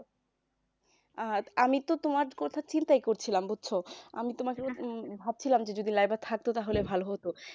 আর আমি তো তোমার কথা চিন্তাই করছিলাম বুঝছ আমি তোমার কথা ভাবছিলাম যে যদি লাইবা থাকত তাহলে ভালো হত